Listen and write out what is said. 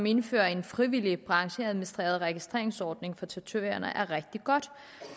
indføres en frivillig brancheadministreret registreringsordning for tatovører er rigtig godt